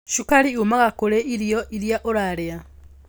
Cukari umaga kũrĩ irio iria ũrarĩa.